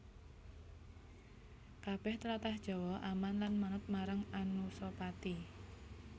Kabèh tlatah Jawa aman lan manut marang Anusapati